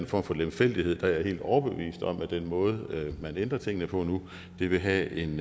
form for lemfældighed er jeg helt overbevist om at den måde man ændrer tingene på nu vil have en